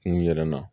Kun yɛrɛ na